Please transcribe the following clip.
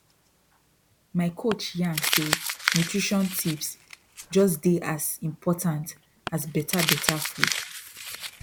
my coach yarn say nutrition tips just dey as important as better better food